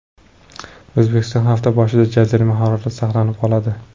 O‘zbekistonda hafta boshida jazirama harorat saqlanib qoladi.